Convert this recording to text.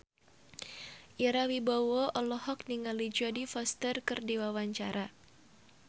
Ira Wibowo olohok ningali Jodie Foster keur diwawancara